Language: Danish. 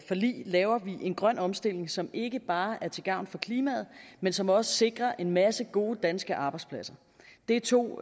forlig laver vi en grøn omstilling som ikke bare er til gavn for klimaet men som også sikrer en masse gode danske arbejdspladser det er to